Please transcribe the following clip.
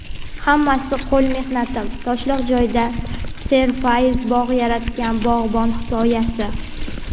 "Hammasi – qo‘l mehnatim" — toshloq joyda serfayz bog‘ yaratgan bog‘bon hikoyasi.